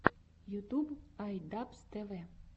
ютуб ай дабз тэ вэ